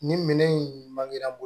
Nin minɛn in man girin